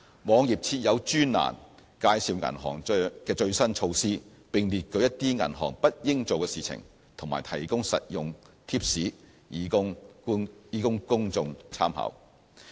網頁設有專欄介紹銀行的最新措施，並列舉一些銀行不應做的事情，和提供實用貼士供公眾參考。